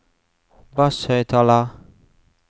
basshøyttaler